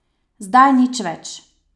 Zdaj nič več.